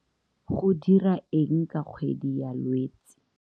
Go dira eng ka kgwedi ya Lwetse.